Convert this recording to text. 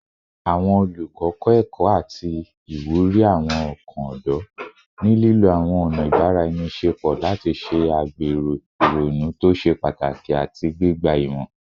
Awọn olukọ kọ ẹkọ ati iwuri awọn ọkan ọdọ, ni lilo awọn ọna ibaraenisepo lati ṣe agbero ironu to ṣe pataki ati gbigba imọ